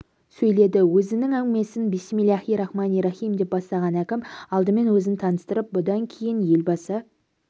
сөйледі өзінің әңгімесін бисмилахи рахмани рахим деп бастаған әкім алдымен өзін таныстырып бұдан кейін елбасы